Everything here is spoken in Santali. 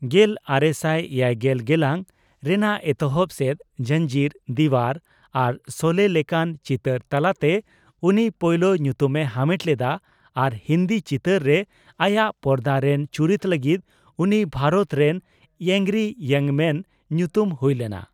ᱜᱮᱞ ᱟᱨᱮᱥᱟᱭ ᱮᱭᱟᱭᱜᱮᱞ ᱜᱮᱞᱟᱝ ᱨᱮᱱᱟ ᱮᱛᱚᱦᱚᱵ ᱥᱮᱫ 'ᱡᱚᱡᱧᱤᱨ', 'ᱫᱤᱣᱟᱨ' ᱟᱨ 'ᱥᱳᱞᱮ' ᱞᱮᱠᱟᱱ ᱪᱤᱛᱟᱹᱨ ᱛᱟᱞᱟᱛᱮ ᱩᱱᱤ ᱯᱚᱭᱞᱳ ᱧᱩᱛᱩᱢ ᱮ ᱦᱟᱢᱮᱴ ᱞᱮᱫᱟ ᱟᱨ ᱦᱤᱱᱫᱤ ᱪᱤᱛᱟᱹᱨ ᱨᱮ ᱟᱭᱟᱜ ᱯᱚᱨᱫᱟ ᱨᱮᱱ ᱪᱩᱨᱤᱛ ᱞᱟᱜᱤᱫ ᱩᱱᱤ ᱵᱷᱟᱨᱚᱛ ᱨᱮᱱ ᱟᱝᱜᱚᱨᱤ ᱤᱭᱚᱝ ᱢᱟᱱ ᱧᱩᱛᱩᱢ ᱦᱩᱭ ᱞᱮᱱᱟ ᱾